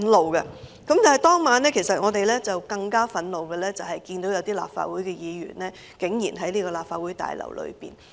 我們更感憤怒和印象深刻的，是看到當晚有立法會議員在這個立法會大樓內。